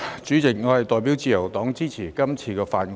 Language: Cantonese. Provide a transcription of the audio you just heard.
主席，我代表自由黨支持通過《條例草案》。